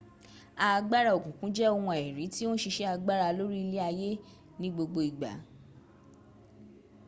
agbara okunkun je ohun aiiri ti o n sise agbara lori ile aye ni gbogbo igba